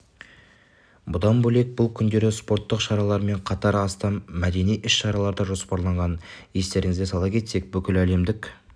бұдан бөлек бұл күндері спорттық шаралармен қатар астам мәдени іс-шаралар да жоспарланған естеріңізге сала кетсек бүкіләлемдік